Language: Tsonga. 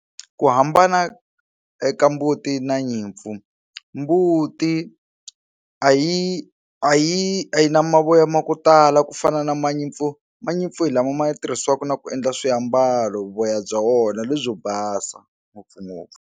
Ku hambana eka mbuti na nyimpfu mbuti a yi a yi a yi na mavoya ma ku tala ku fana na ma nyimpfu ma nyimpfu hi lama ma yi tirhisiwaka na ku endla swiambalo voya bya wona lebyi basa ngopfungopfu.